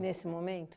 Nesse momento?